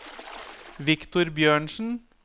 Viktor Bjørnsen